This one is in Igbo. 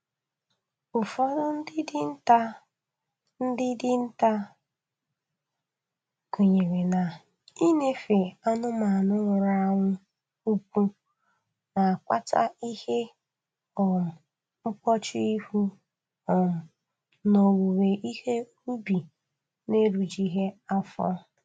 Ụfọdụ ndị dinta ndị dinta kwenyere na-iṅefe anụmanụ nwụrụ anwụ ụkwụ na-akpata ihe um mkpọchu ihu um na owuwe ihe ubi na-erijughị afọ